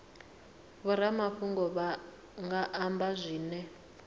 vhoramafhungo vha nga amba zwine